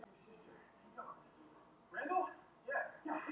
Ég mun taka allt inn í myndina þegar ég tek ákvörðun um mína framtíð.